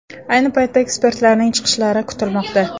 Ayni paytda ekspertlarning chiqishlari kutilmoqda.